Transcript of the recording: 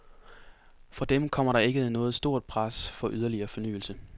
Fra dem kommer der ikke noget stort pres for yderligere fornyelse.